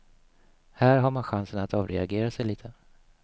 Här har man chansen att avreagera sig lite.